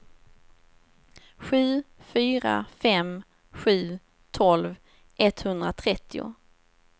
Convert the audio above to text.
sju fyra fem sju tolv etthundratrettio